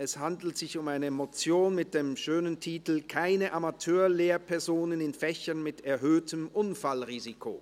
Es handelt sich um eine Motion mit dem schönen Titel «Keine Amateur-Lehrpersonen in Fächern mit erhöhtem Unfallrisiko!».